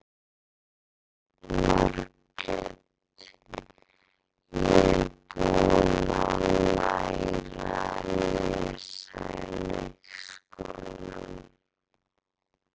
Margrét: Ég er búin að læra að lesa í leikskólanum.